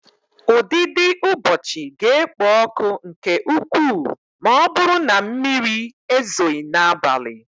Ụdidiụbọọchi ga-ekpo ọkụ nke ukwuu ma ọ bụrụ na mmiri ezoghị n'abalị.